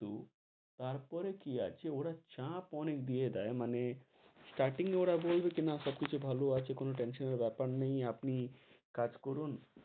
কিন্তু, তার পরে কি আছে, ওরা চাপ অনেক দিয়ে দেয় মানে starting এ ওরা বলবে কি না সব কিছু ভালো আছে, কোনো tension এর বেপার নেই, আপনি কাজ করুন,